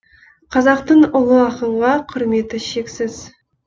қазақтың ұлы ақынға құрметі шексіз